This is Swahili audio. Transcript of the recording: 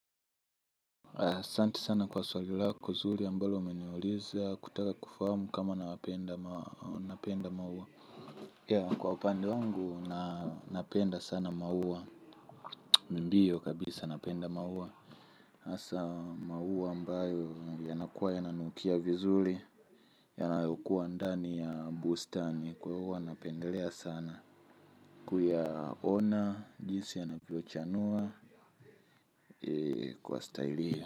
Asanti sana kwa swali lako zuri ambalo umeniuliza kutaka kufahamu kama na napenda maua. Ya kwa upande wangu na napenda sana maua. Ndiyo kabisa napenda maua. Asa maua ambayo yanakuwa yananukia vizuri. Yanayokuwa ndani ya bustani kwa hua napendelea sana. Kuyaona jinsi yanavyochanua kwa stylee.